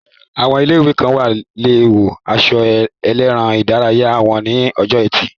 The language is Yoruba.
Àwọn ilé-ìwé kan lè wọ aṣọ eré ìdárayá wọn ní ọjọ́ ẹtì